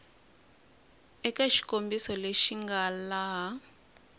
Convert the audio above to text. eka xikombiso lexi nga laha